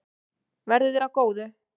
Verði þér að góðu.